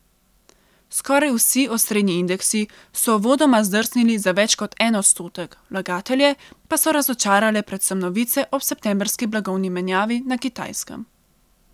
Skoraj vsi osrednji indeksi so uvodoma zdrsnili za več kot en odstotek, vlagatelje pa so razočarale predvsem novice o septembrski blagovni menjavi na Kitajskem.